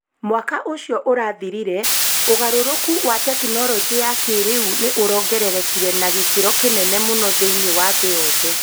Mwaka ũcio ũrathirire, ũgarũrũku wa tekinolonjĩ ya kĩrĩu nĩ ũrongererekire na gĩkĩro kĩnene mũno thĩinĩ wa thĩ yothe.